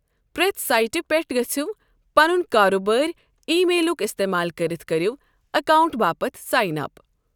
ہرٛٮ۪تھ سٲیٹہِ پٮ۪ٹھ گٔژھو تہٕ پنُن کاروٗبٲری ای میلُک اِستعمال کٔرِتھ کٔرِو اکاونٛٹ باپتھ سائن اپ۔